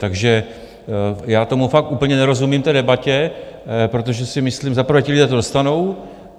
Takže já tomu fakt úplně nerozumím, té debatě, protože si myslím - za prvé ti lidé to dostanou.